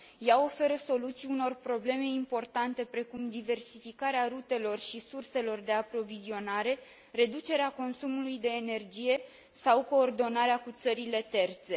Ea oferă soluții unor probleme importante, precum diversificarea rutelor și surselor de aprovizionare, reducerea consumului de energie sau coordonarea cu țările terțe.